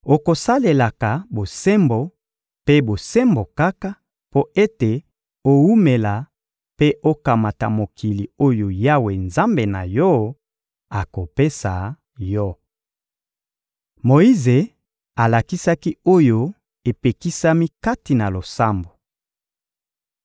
Okosalelaka bosembo mpe bosembo kaka, mpo ete owumela mpe okamata mokili oyo Yawe, Nzambe na yo, akopesa yo. Moyize alakisaki oyo epekisami kati na losambo